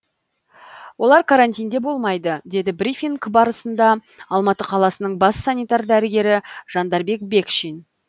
олар карантинде болмайды деді брифинг барысында алматы қаласының бас санитар дәрігері жандарбек бекшин